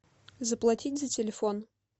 заплатить за телефон